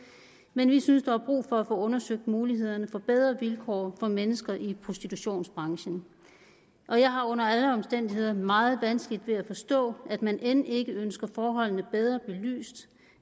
men vi synes der er brug for at få undersøgt mulighederne for bedre vilkår for mennesker i prostitutionsbranchen og jeg har under alle omstændigheder meget vanskeligt ved at forstå at man end ikke ønsker forholdene bedre belyst